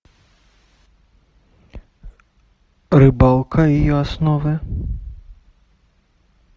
рыбалка и ее основы